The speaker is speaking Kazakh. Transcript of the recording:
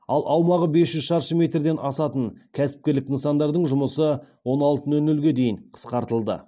ал аумағы бес жүз шаршы метрден асатын кәсіпкерлік нысандардың жұмысы он алты нөл нөлге дейін қысқартылды